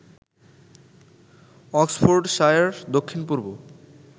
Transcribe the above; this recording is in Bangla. অক্সফোর্ডশায়ার দক্ষিণ পূর্ব